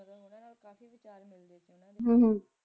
ਹਮ ਹਮ